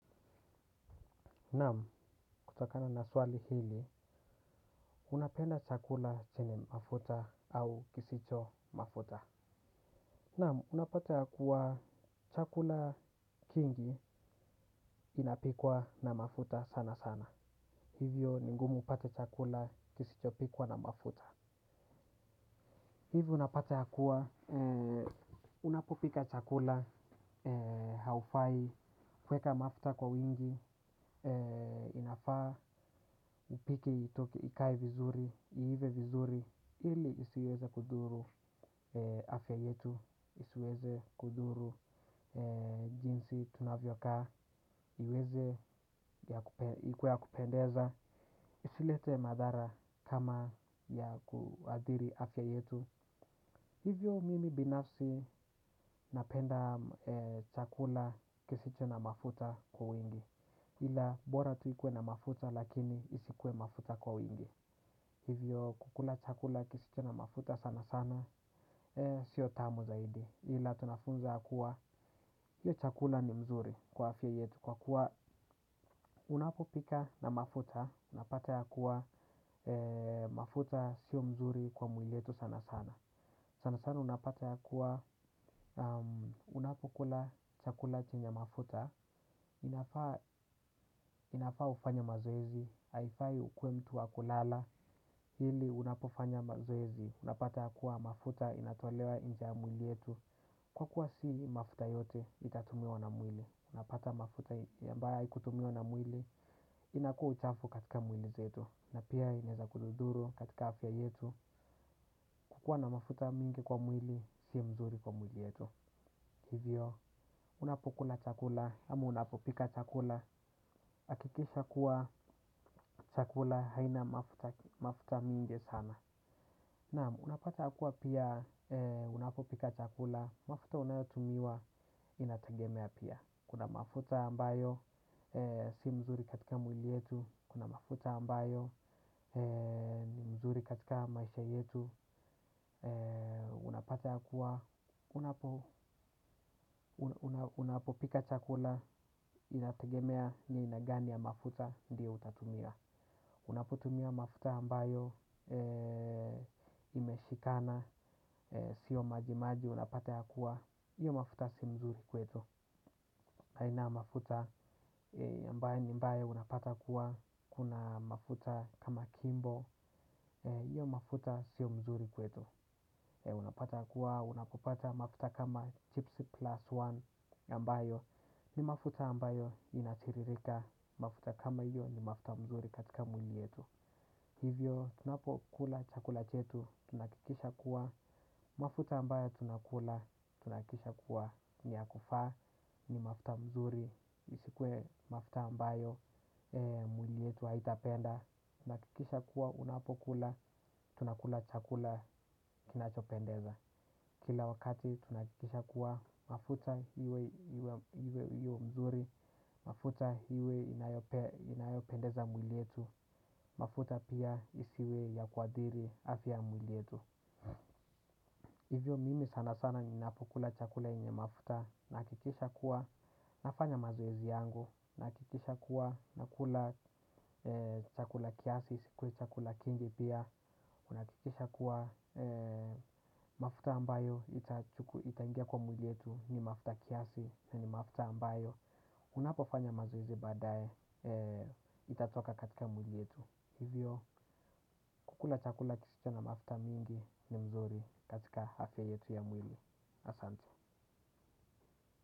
Naam, kutokana na swali hili, unapenda chakula chenye mafuta au kisicho mafuta. Namu, unapata ya kuwa chakula kingi kinapikwa na mafuta sana sana. Hivyo, ni ngumu upate chakula kisichopikwa na mafuta. Hivyo unapata yakuwa, unapopika chakula, haufai, kuweka mafuta kwa wingi, inafaa, upike itoke, ikae vizuri, iive vizuri, ili isiweze kudhuru afya yetu, isiweze kudhuru jinsi tunavyokaa, iweze, ikuwe ya kupendeza, isilete madhara kama ya kuadhiri afya yetu. Hivyo mimi binafsi napenda chakula kisicho na mafuta kwa wingi ila bora tuh ikuwe na mafuta lakini isikuwe mafuta kwa wingi. Hivyo kukula chakula kisicho na mafuta sana sana sio tamu zaidi ila tunafunza kuwa hiyo chakula ni mzuri kwa afya yetu. Kwa kuwa unapopika na mafuta unapata yakuwa mafuta sio mzuri kwa mwili yetu sana sana. Sana sana unapata ya kuwa, unapokula chakula chenye mafuta, inafaa ufanya mazoezi, haifai ukuwe mtu wa kulala, hili unapofanya mazoezi, unapata ya kuwa mafuta inatolewa inje mwili yetu. Kwa kuwa si mafuta yote itatumiwa na mwili, unapata mafuta ya mbaya ikutumiwa na mwili, inakua uchafu katika mwili zetu, na pia inaweza kudhudhuru katika afya yetu, kukua na mafuta mingi kwa mwili, siyo mzuri kwa mwili yetu. Hivyo, unapokula chakula, ama unapopika chakula, hakikisha kuwa chakula, haina mafuta mingi sana. Namu, unapata hakuwa pia, unapopika chakula, mafuta unayotumiwa, inatangemea pia. Kuna mafuta ambayo, si mzuri katika mwili yetu, kuna mafuta ambayo, ni mzuri katika maisha yetu. Unapata ya kuwa unapopika chakula. Inategemea ni aina gani ya mafuta. Ndiyo utatumia. Unapotumia mafuta ambayo Imeshikana. Sio majimaji. Unapata ya kuwa iyo mafuta si mzuri kwetu. Kaina mafuta aMbaye ni mbaya unapata kuwa kuna mafuta kama kimbo. Iyo mafuta sio mzuri kwetu. Unapata ya kuwa unapopata mafuta kama chips plus one ambayo ni mafuta ambayo inatiririka mafuta kama hiyo ni mafuta mzuri katika mwili yetu hivyo tunapokula chakula chetu tunahakikisha kuwa mafuta ambayo tunakula tunahakisha kuwa ni ya kufaa ni mafuta mzuri isikuwe mafuta ambayo mwili yetu haitapenda tunahakikisha kuwa unapokula tunakula chakula kinachopendeza. Kila wakati tunahakikisha kuwa mafuta iwe mzuri, mafuta iwe inayopendeza mwili yetu, mafuta pia isiwe ya kwadhiri afya mwili yetu. Hivyo mimi sana sana ninapokula chakula yenye mafuta, nahakikisha kuwa nafanya mazoezi yangu. Nahakikisha kuwa nakula chakula kiasi isikuwe chakula kingi pia. Nahakikisha kuwa mafuta ambayo itaingia kwa mwili yetu ni mafuta kiasi na ni mafuta ambayo unapofanya mazoezi badae itatoka katika mwili yetu. Hivyo kukula chakula kisicho na mafuta mingi ni mzuri katika afya yetu ya mwili. Asante.